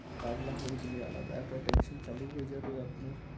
পাগলা হয়ে গেলে আলাদা একটা tension চালু হয়ে যাবে আপনার